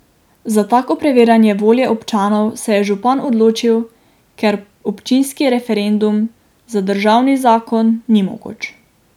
Za tako preverjanje volje občanov se je župan odločil, ker občinski referendum za državni zakon ni mogoč.